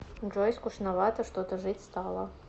джой скучновато что то жить стало